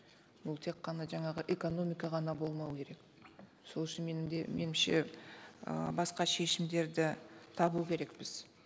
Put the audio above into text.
бұл тек қана жаңағы экономика ғана болмау керек сол үшін менің де меніңше ыыы басқа шешімдерді табу керекпіз